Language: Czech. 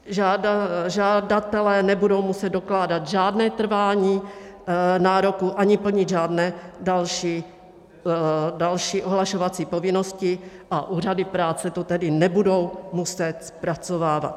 Žadatelé nebudou muset dokládat žádné trvání nároku ani plnit žádné další ohlašovací povinnosti, a úřady práce to tedy nebudou muset zpracovávat.